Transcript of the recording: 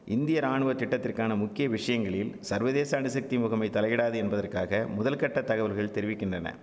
இந்திய ராணுவத்திட்டத்திற்கான முக்கிய விஷயங்களில் சர்வதேச அணுசக்தி முகமை தலையிடாது என்பதற்காக முதல்கட்டத் தகவல்கள் தெரிவிக்கின்றன